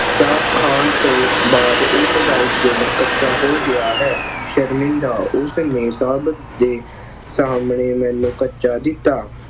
ਚਾਟ ਖਾਣ ਤੋਂ ਬਾਅਦ ਉਸਦਾ ਦਿਲ ਕੱਚਾ ਹੋ ਗਿਆ ਹੈ। ਦਾ ਉਸਨੇ ਸਭ ਦੇ ਸਾਹਮਣੇ ਮੈਨੂੰ ਕੱਚਾ ਕੀਤਾ।